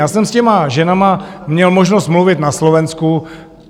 Já jsem s těmi ženami měl možnost mluvit na Slovensku.